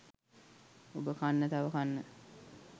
ඔබ කන්න තව කන්න